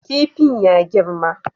Kifin ya girma